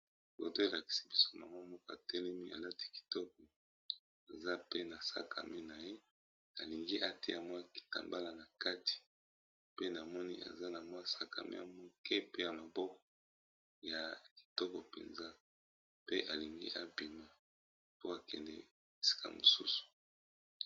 Foto oyo elakisi biso mama moko atelemi alati kitoko aza pe na sakame na ye alingi atia mwa kitambala na kati pe na moni aza na mwa sakame mukie pe ya maboko ya kitoko mpenza pe alingi ebima po akende esika mosusu.